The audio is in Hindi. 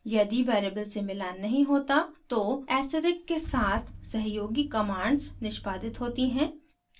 यदि variable से मिलान नहीं होता तो asterisk के साथ सहयोगी commands निष्पादित होती हैं